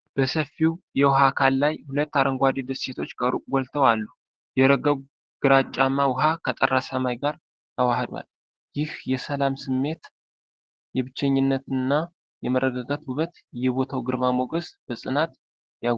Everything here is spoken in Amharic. በሰፊው የውሃ አካል ላይ ሁለት አረንጓዴ ደሴቶች ከሩቅ ጎልተው አሉ። የረጋው ግራጫማ ውኃ ከጠራ ሰማይ ጋር ተዋህዷል። ይህ የሰላም ስሜት፣ የብቸኝነትና የመረጋጋት ውበት የቦታውን ግርማ ሞገስ በጽናት ያጎላል።